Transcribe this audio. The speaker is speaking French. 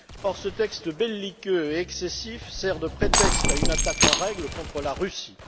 Or, ce texte belliqueux et excessif sert de prétexte à une attaque en règle contre la Russie.